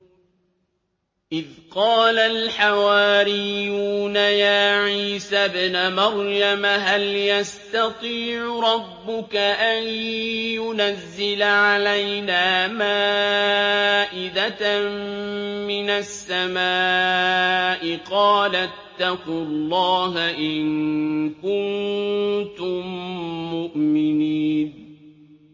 إِذْ قَالَ الْحَوَارِيُّونَ يَا عِيسَى ابْنَ مَرْيَمَ هَلْ يَسْتَطِيعُ رَبُّكَ أَن يُنَزِّلَ عَلَيْنَا مَائِدَةً مِّنَ السَّمَاءِ ۖ قَالَ اتَّقُوا اللَّهَ إِن كُنتُم مُّؤْمِنِينَ